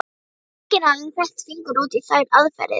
Enginn hafði fett fingur út í þær aðferðir.